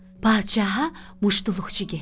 Padişaha muşduluqçu getdi.